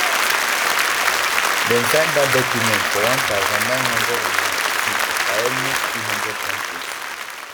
dem sign dat document for one thousand, nine hundred and ninety-two by almost two hundred countries